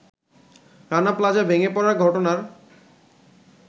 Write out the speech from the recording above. Rana Plaza ভেঙে পড়ার ঘটনার